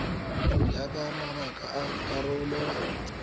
ya ka mabaka a karolo